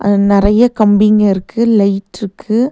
அதுல நறையா கம்பிங்க இருக்கு லைட்ருக்கு .